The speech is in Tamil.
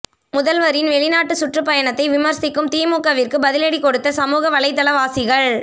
முதல்வரின் வெளிநாட்டு சுற்றுப் பயணத்தை விமர்சிக்கும் திமுகவிற்கு பதிலடி கொடுக்கும் சமூக வலைத்தளவாசிகள்